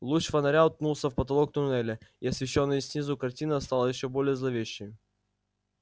луч фонаря уткнулся в потолок туннеля и освещённая снизу картина стала ещё более зловещей